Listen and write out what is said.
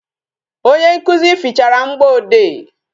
Onye nkụzi fichara mgboede